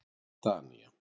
Danía